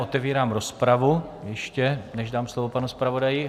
Otevírám rozpravu, ještě než dám slovo panu zpravodaji.